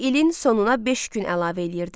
İlin sonuna beş gün əlavə eləyirdilər.